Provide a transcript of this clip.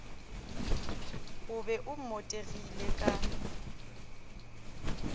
o be o mmotegile ka